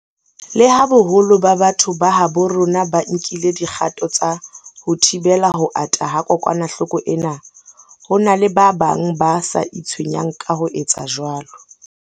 Leha boholo ba batho ba habo rona ba nkile dikgato tsa ho thibela ho ata ha kokwanahloko ena, ho na le ba bang ba sa itshwenyang ka ho etsa jwalo.